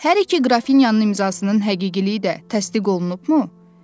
Hər iki qrafinyanın imzasının həqiqiliyi də təsdiq olunubmu?